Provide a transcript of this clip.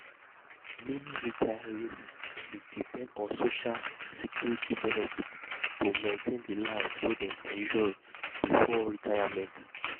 meni retirees dey depend on social security benefits to maintain di life wey dem enjoy before retirement.